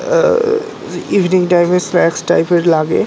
আ-হ evening time -এ snacks টাইপের লাগে।